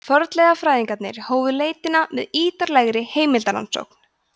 fornleifafræðingarnir hófu leitina með ýtarlegri heimildarannsókn